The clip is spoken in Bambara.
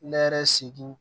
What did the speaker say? Ne yɛrɛ segu